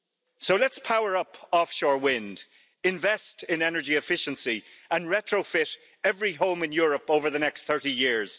So let's power up offshore wind, invest in energy efficiency and retrofit every home in Europe over the next 30 years.